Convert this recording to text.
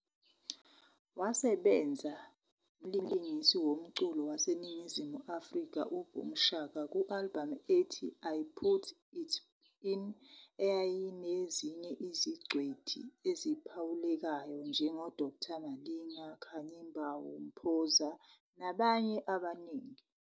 Wasebenza nomlingiswa womculo waseNingizimu Afrika uBoom Shaka ku-albhamu ethi I Put It In, eyayinezinye izingcweti eziphawulekayo njengoDkt Malinga, Khanyi Mbau, Mphoza, nabanye abaningi.